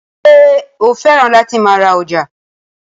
Ṣé o fẹ́ràn láti máa ra ọjà?